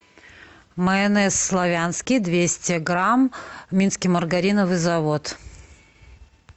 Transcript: майонез славянский двести грамм минский маргариновый завод